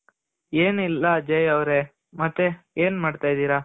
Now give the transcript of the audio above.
ಏನ್ ಇಲ್ಲ ಅಜಯ್ ಅವ್ರೆ ಮತ್ತೆ ಏನ್ ಮಾಡ್ತಾ ಇದಿರ.